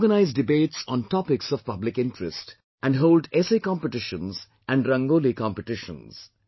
They organise debates on topics of public interest, and hold essay competitions and rangoli competitions